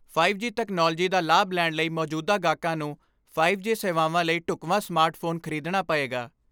Five G technology ਦਾ ਲਾਭ ਲੈਣ ਲਈ ਮੌਜੂਦਾ ਗਾਹਕਾਂ ਨੂੰ ਫਾਈਵ ਜੀ ਸੇਵਾਵਾਂ ਲਈ ਢੁਕਵਾਂ ਸਮਾਰਟ ਫੋਨ ਖ੍ਰੀਦਣਾ ਪਏਗਾ।